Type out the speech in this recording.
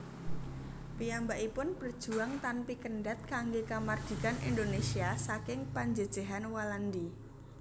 Piyambakipun berjuang tanpi kendhat kanggé kamardhikan Indonésia saking penjejehan Walandi